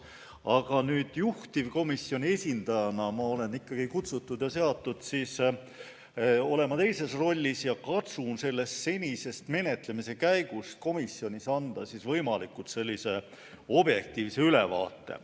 Aga juhtivkomisjoni esindajana olen ma siia kutsutud ja seatud olema teises rollis ning katsun senisest komisjonis toimunud menetlemise käigust anda võimalikult objektiivse ülevaate.